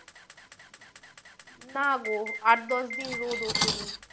না গো আট দশ দিন রোদ ওঠেনি।